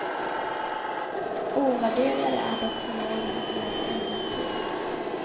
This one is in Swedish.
Ovärderligare är dock förmågan att läsa innantill.